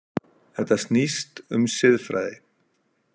Þetta snýst um siðfræði.